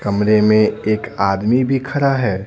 कमरे में एक आदमी भी खड़ा है।